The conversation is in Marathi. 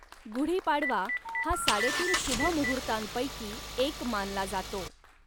गुढीपाडवा हा साडेतीन शुभमुहूर्तांपैकी एक मानला जातो.